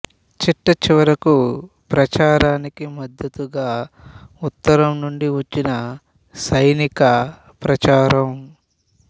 చిట్టచివరకు ప్రచారానికి మద్దతుగా ఉత్తరం నుండి వచ్చిన సైనిక ప్రచారం